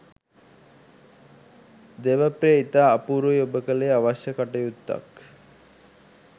දේවප්‍රිය ඉතා අපූරුයි ඔබ කළේ අවශ්‍ය කටයුත්තක්.